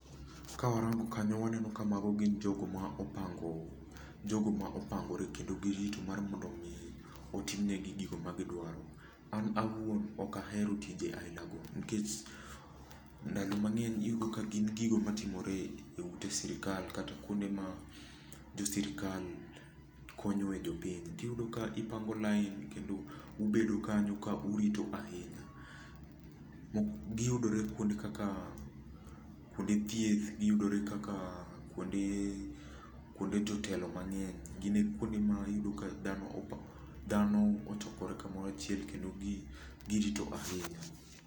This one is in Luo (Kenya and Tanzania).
Kawarango kanyo waneno ka mago gin jogo ma opango, jogo ma opangore kendo girito mar mondo mi otimnegi gigo ma gidwaro. An awuon okahero tije aila go nikech ndalo mang'eny iyudo ka gin gigo matimore e ute sirkal kata kuonde ma jo sirkal konyoe jopiny. Tiyudo ka upango line kendo ubedo kanyo kaurito ahinya. Giyudore kuonde kaka, kuode thieth, giyudore kaka kuonde jotelo mang'eny, gine kuonde ma iyudo ka dhano opango, dhano ochokore kamoro achiel kendo girito ahinya